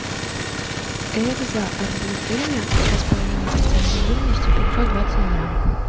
экзо арбуз дыня два с половиной процента жирности пятьсот двадцать грамм